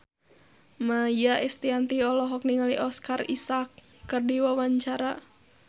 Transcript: Maia Estianty olohok ningali Oscar Isaac keur diwawancara